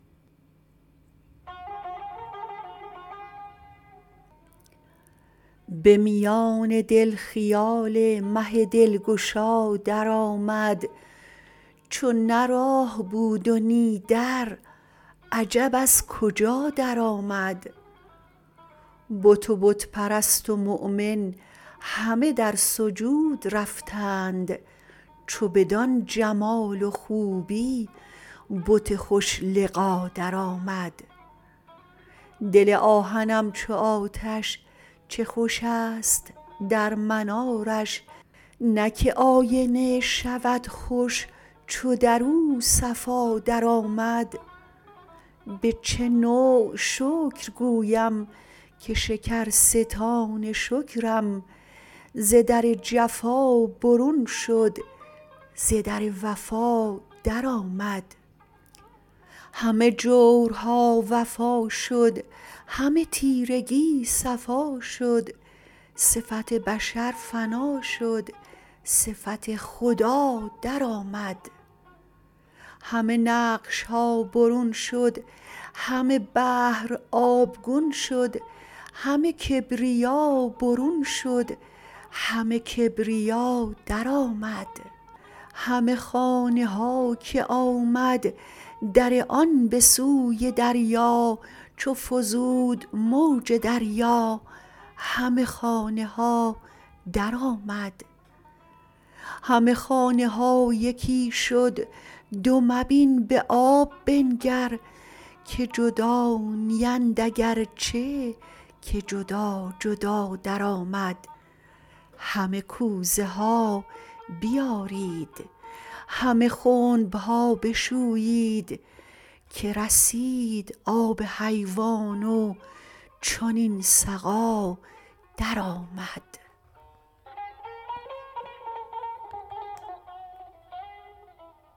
به میان دل خیال مه دلگشا درآمد چو نه راه بود و نی در عجب از کجا درآمد بت و بت پرست و مؤمن همه در سجود رفتند چو بدان جمال و خوبی بت خوش لقا درآمد دل آهنم چو آتش چه خوش است در منارش نه که آینه شود خوش چو در او صفا درآمد به چه نوع شکر گویم که شکرستان شکرم ز در جفا برون شد ز در وفا درآمد همه جورها وفا شد همه تیرگی صفا شد صفت بشر فنا شد صفت خدا درآمد همه نقش ها برون شد همه بحر آبگون شد همه کبریا برون شد همه کبریا درآمد همه خانه ها که آمد در آن به سوی دریا چو فزود موج دریا همه خانه ها درآمد همه خانه ها یکی شد دو مبین به آب بنگر که جدا نیند اگر چه که جدا جدا درآمد همه کوزه ها بیارید همه خنب ها بشویید که رسید آب حیوان و چنین سقا درآمد